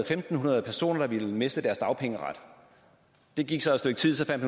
fem hundrede der ville miste deres dagpengeret der gik så et stykke tid så fandt